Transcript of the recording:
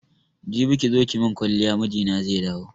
Jibi kizo ki mun kwaliya mijina zai dawo